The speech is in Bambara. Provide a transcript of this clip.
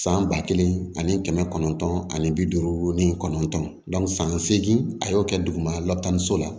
San ba kelen ani kɛmɛ kɔnɔntɔn ani bi duuru ni kɔnɔntɔn san segin a y'o kɛ duguma lataniso la